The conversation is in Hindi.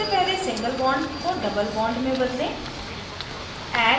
सबसे पहले single bond को double bond में बदलें